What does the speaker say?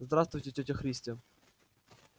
здравствуйте тётя христя